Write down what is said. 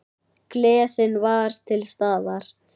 Gleðin var til staðar.